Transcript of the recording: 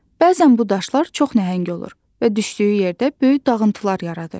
Bəzən bu daşlar çox nəhəng olur və düşdüyü yerdə böyük dağıntılar yaradır.